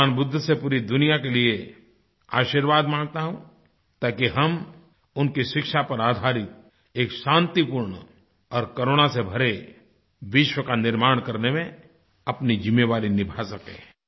भगवान बुद्ध से पूरी दुनिया के लिए आशीर्वाद मांगता हूँ ताकि हम उनकी शिक्षा पर आधारित एक शांतिपूर्ण और करुणा से भरे विश्व का निर्माण करने में अपनी ज़िम्मेदारी निभा सकें